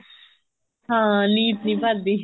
ਹਾਂ ਨੀਤ ਨੀ ਭਰਦੀ